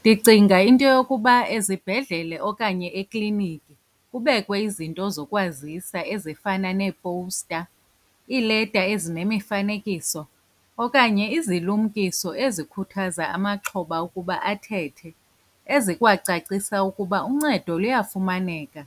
Ndicinga into yokuba ezibhedlele okanye ekliniki kubekwe izinto zokwazisa ezifana neepowusta, iileta ezinemifanekiso, okanye izilumkiso ezikhuthaza amaxhoba ukuba athethe ezikwacacisa ukuba uncedo luyafumaneka